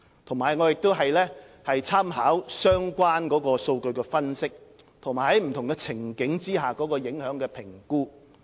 我們亦會參考相關的數據分析，以及不同情境下的影響評估。